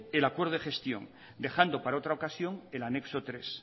el acuerdo de gestión dejando para otra ocasión el anexo tres